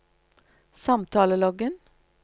samtaleloggen